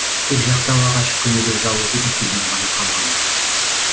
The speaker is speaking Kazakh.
тек жақтау ағашы көнелеу жалғыз этюдім ғана қалған ды